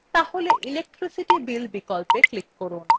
তাহলে electricity bill বিকল্পে click করুন